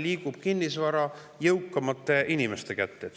liigub kinnisvara jõukamate inimeste kätte.